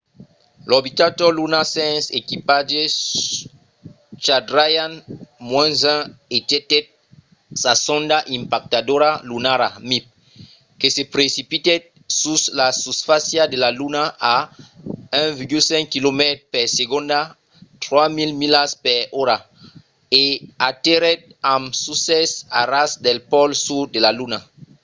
l’orbitador lunar sens equipatge chandrayaan-1 ejectèt sa sonda impactadora lunara mip que se precipitèt sus la susfàcia de la luna a 1,5 quilomètres per segonda 3 000 milas per ora e aterrèt amb succès a ras del pòl sud de la luna